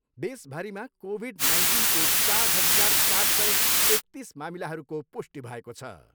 देशभरिमा कोभिड नाइन्टिनको चार हजार चार सय एकतिस मामिलाहरूको पुष्टि भएको छ।